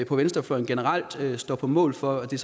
på venstrefløjen generelt står på mål for og det